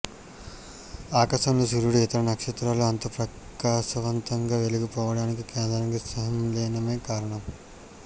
ఆకాశంలో సూర్యుడు ఇతర నక్షత్రాలు అంత ప్రకాశవంతంగా వెలిగిపోవడానికి కేంద్రక సంలీనమే కారణం